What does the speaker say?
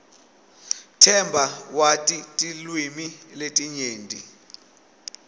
themba wati tilwimi letinyenti